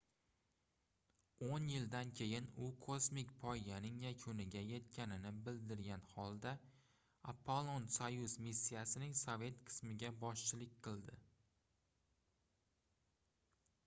oʻn yildan keyin u kosmik poyganing yakuniga yetganini bildirgan holda apollon-soyuz missiyasining sovet qismiga boshchilik qildi